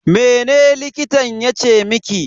Mene likitan yace miki?